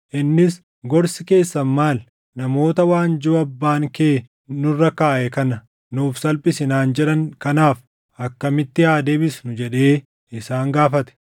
Innis, “Gorsi keessan maal? Namoota, ‘Waanjoo abbaan kee nurra kaaʼe kana nuuf salphisi’ naan jedhan kanaaf akkamitti haa deebisnu?” jedhee isaan gaafate.